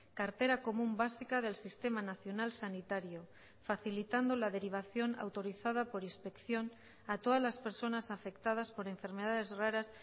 cartera común básica del sistema nacional sanitario facilitando la derivación autorizada por inspección a todas las personas afectadas por enfermedades raras